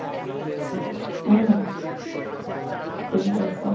হম, ঠিক বলছো।